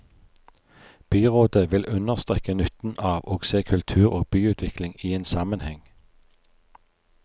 Byrådet vil understreke nytten av å se kultur og byutvikling i en sammenheng.